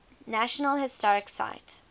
national historic site